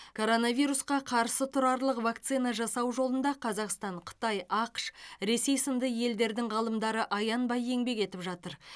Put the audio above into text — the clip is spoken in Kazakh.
коронавирусқа қарсы тұрарлық вакцина жасау жолында қазақстан қытай ақш ресей сынды елдердің ғалымдары аянбай еңбек етіп жатыр